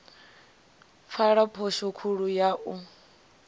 pfala phosho khulu ya u